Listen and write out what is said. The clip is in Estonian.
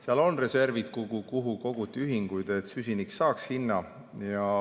Seal on reservid, kuhu koguti ühikuid, et süsinik saaks hinna.